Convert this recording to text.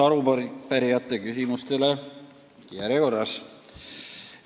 Vastan arupärijate küsimustele järjekorras.